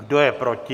Kdo je proti?